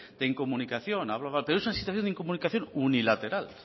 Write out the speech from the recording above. de incomunicación pero es una situación de incomunicación unilateral